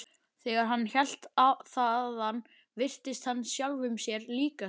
Þegar hann hélt þaðan virtist hann sjálfum sér líkastur.